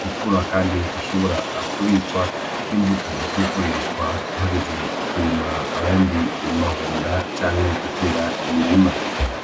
gukura kandi zishobora kubikwa nk'imbuto zo gukoreshwa hageze kurima ayandi mahonda canke gutera imirima.